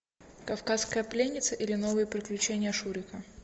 кавказская пленница или новые приключения шурика